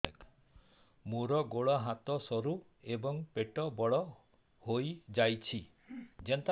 ମୋର ଗୋଡ ହାତ ସରୁ ଏବଂ ପେଟ ବଡ଼ ହୋଇଯାଇଛି